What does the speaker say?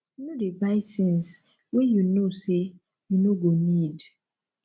no dey buy things wey you know sey you no go need